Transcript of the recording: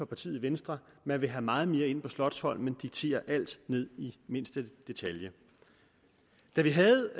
partiet venstre man vil have meget mere ind på slotsholmen og diktere alt ned i mindste detalje da vi havde